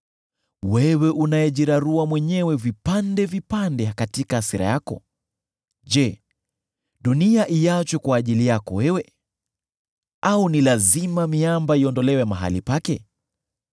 Wewe unayejirarua mwenyewe vipande vipande katika hasira yako, je, dunia iachwe kwa ajili yako wewe? Au ni lazima miamba iondolewe mahali pake?